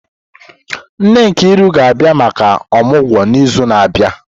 Nne Nkiru ga-abia maka omugwo n'izu na-abịa.